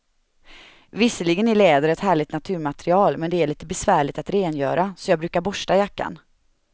Visserligen är läder ett härligt naturmaterial, men det är lite besvärligt att rengöra, så jag brukar borsta jackan.